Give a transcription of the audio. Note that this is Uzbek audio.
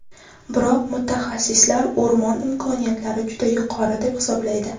Biroq mutaxassislar o‘rmon imkoniyatlari juda yuqori deb hisoblaydi.